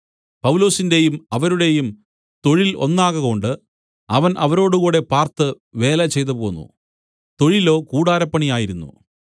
പൗലോസിന്റെയും അവരുടെയും തൊഴിൽ ഒന്നാകകൊണ്ട് അവൻ അവരോടുകൂടെ പാർത്ത് വേല ചെയ്തുപോന്നു തൊഴിലോ കൂടാരപ്പണിയായിരുന്നു